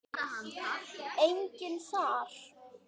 Enginn þar?